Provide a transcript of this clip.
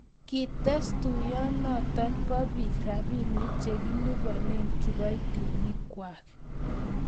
kites tuyionoe bo biik robinik che kiliboni kiboitinikwak